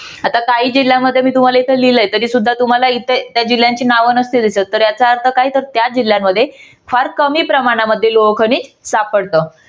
आता काही जिल्यामध्ये मी तुम्हाला इथे लिहिलंय तरी सुद्धा तुम्हाला इथे त्या जिल्ह्यांची नाव नसतील दिसत तर याचा अर्थ काय तर त्या जिल्यांमध्ये फार कमी प्रमाणामध्ये लोह खनिज सापडत.